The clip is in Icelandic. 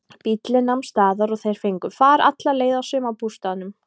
Bíllinn nam staðar og þeir fengu far alla leið að sumarbústaðnum.